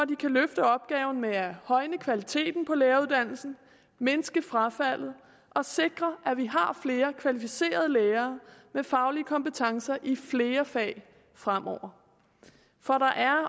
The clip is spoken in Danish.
de kan løfte opgaven med at højne kvaliteten på læreruddannelsen mindske frafaldet og sikre at vi har flere kvalificerede lærere med faglige kompetencer i flere fag fremover for der er